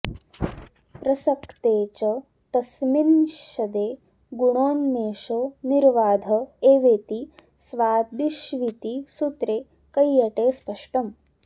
प्रसक्ते च तस्मिन्निषदे गुणोन्मेषो निर्बाध एवेति स्वादिष्विति सूत्रे कैयटे स्पष्टम्